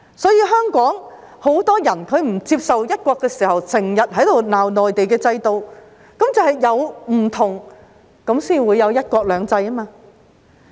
香港很多人不接受"一國"，便經常罵內地的制度，其實正是因為有所不同才會有"一國兩制"。